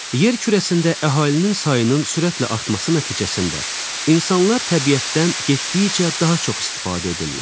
Yer kürəsində əhalinin sayının sürətlə artması nəticəsində insanlar təbiətdən getdikcə daha çox istifadə edirlər.